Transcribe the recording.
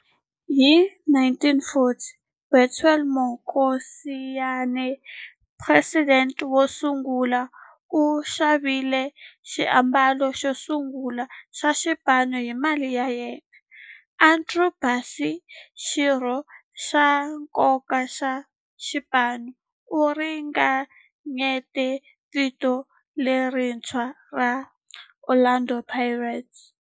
Hi 1940, Bethuel Mokgosinyane, president wosungula, u xavile xiambalo xosungula xa xipano hi mali ya yena. Andrew Bassie, xirho xa nkoka xa xipano, u ringanyete vito lerintshwa ra 'Orlando Pirates'.